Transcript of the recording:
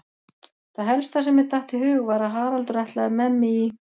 Það helsta sem mér datt í hug var að Haraldur ætlaði með mig í